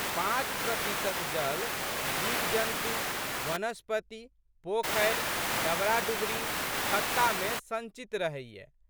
पाँच प्रतिशत जल जीवजन्तु, वनस्पति, पोखरि, डबराडुबरी, खत्तामे संचित रहैए।